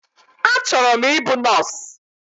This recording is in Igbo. Achọrọ m ịbụ nọọsụ